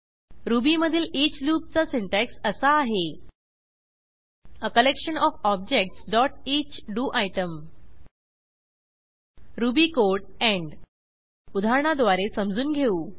रुबीमधील ईच लूपचा सिंटॅक्स असा आहे a collection OF objects dot each DO ITEM Ruby code end उदाहरणाद्वारे समजून घेऊ